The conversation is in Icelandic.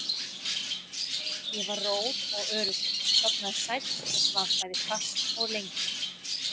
Ég var rór og öruggur, sofnaði sæll og svaf bæði fast og lengi.